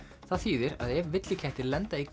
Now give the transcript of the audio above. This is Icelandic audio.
það þýðir að ef villikettir lenda í